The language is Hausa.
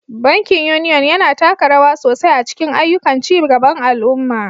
Bankin Union, yana taka rawa sosai a cikin ayyukan ci gaban al'umma.